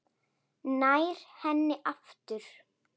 Nær henni aftur.